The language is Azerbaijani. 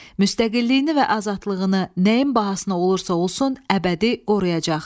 Müstəqilliyini və azadlığını nəyin bahasına olursa-olsun əbədi qoruyacaq.